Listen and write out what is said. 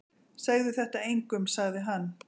Segðu þetta engum sagði hann.